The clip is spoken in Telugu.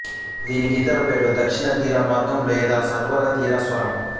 దీనికి ఇతర పేర్లు దక్షిణ తీర మార్గం లేదా సత్వర తీర స్థావరం